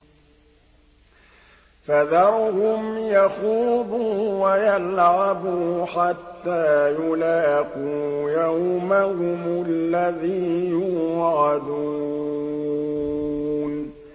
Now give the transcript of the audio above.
فَذَرْهُمْ يَخُوضُوا وَيَلْعَبُوا حَتَّىٰ يُلَاقُوا يَوْمَهُمُ الَّذِي يُوعَدُونَ